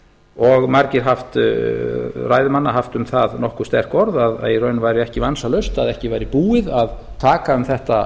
og margir ræðumanna haft um það nokkuð sterk orð að í raun væri ekki vansalaust að ekki væri búið að taka um þetta